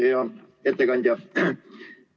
Hea ettekandja!